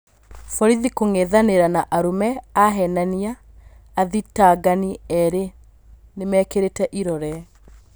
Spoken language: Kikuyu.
Borithi kũng'ethanĩra na arũme ahenania "Athitangani erĩ nĩmekĩrĩte irore.